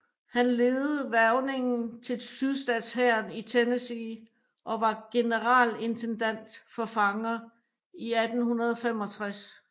Han ledede hvervningen til sydstatshæren i Tennessee og var generalintendant for fanger i 1865